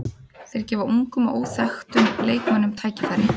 Þeir gefa ungum og óþekktum leikmönnum tækifæri.